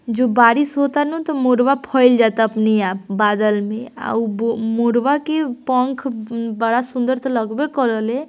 जब बारिश होता तो मोरवा फ़ैल जाता अपने आप बादल में और बो मोरवा के पंख ब बड़ा सुंदर तो लगबे करले --